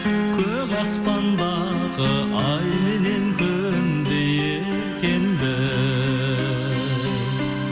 көк аспандағы ай менен күндей екенбіз